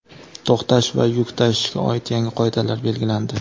to‘xtash va yuk tashishga oid yangi qoidalar belgilandi.